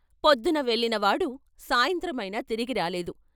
పొద్దున వెళ్ళినవాడు సాయంత్రమైనా తిరిగిరాలేదు.